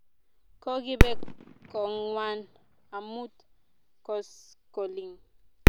Kokipe kong'wan amut koskoling'